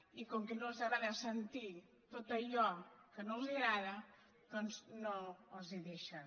i com que no els agrada sentir tot allò que no els agrada doncs no els ho dei·xen